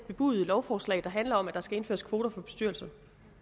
bebudede lovforslag der handler om at der skal indføres kvoter i bestyrelser